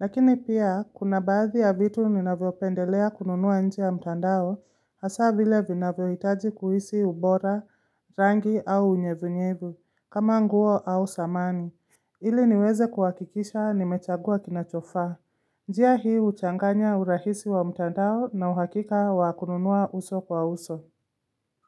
Lakini pia, kuna baadhi ya vitu ninavyo pendelea kununuwa nje ya mtandao hasa vile vinavyoitaji kuhisi ubora, rangi au unyevunyevu, kama nguo au samani. Ili niweze kuhakikisha nimechagua kinachofaa. Njia hii huchanganya urahisi wa mtandao na uhakika wa kununua uso kwa uso.